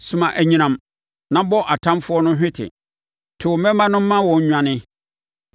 Soma anyinam na bɔ atamfoɔ no hwete; to wo mmemma no ma wɔn nnwane.